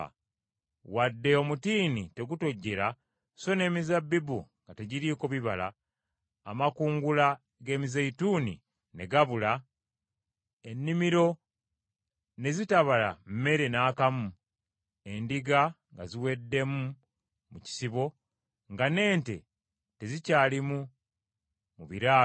Wadde omutiini tegutojjera, so n’emizabbibu nga tegiriiko bibala, amakungula g’emizeeyituuni ne gabula, ennimiro ne zitabala mmere n’akamu, endiga nga ziweddemu mu kisibo, nga n’ente tezikyalimu mu biraalo,